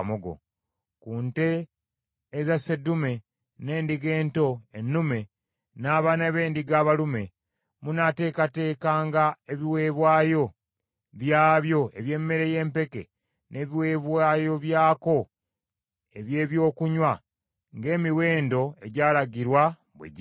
Ku nte eza sseddume, n’endiga ento ennume, n’abaana b’endiga abalume, munaateekateekanga ebiweebwayo byabyo eby’emmere y’empeke n’ebiweebwayo byako eby’ebyokunywa, ng’emiwendo egyalagirwa bwe giri.